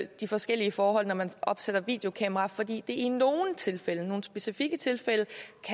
de forskellige forhold når man opstiller videokameraer fordi det i nogle tilfælde i nogle specifikke tilfælde